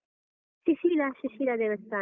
ಸುಶೀಲ ಸುಶೀಲ ದೇವಸ್ತಾನ.